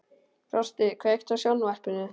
Frosti, kveiktu á sjónvarpinu.